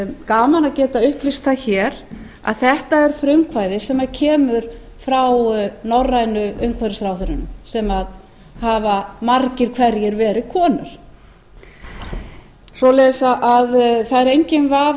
gaman að geta upplýst það hér að þetta er frumkvæði sem kemur frá norrænu umhverfisráðherrunum sem hafa margir hverjir verið konur svoleiðis að það er enginn vafi